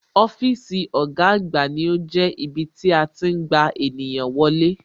Ọ́fíìsì ọ̀gá àgbà ní ó jẹ́ ibí tí a tí ń gba ènìyàn wọlé